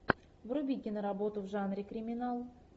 вруби киноработу в жанре криминал